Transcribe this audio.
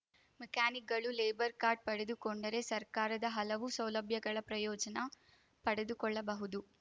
ಮೆಕ್ಯಾನಿಕ್‌ಗಳು labour card ಪಡೆದುಕೊಂಡರೆ ಸರ್ಕಾರದ ಹಲವು ಸೌಲಭ್ಯಗಳ ಪ್ರಯೋಜನ ಪಡೆದುಕೊಳ್ಳಬಹುದು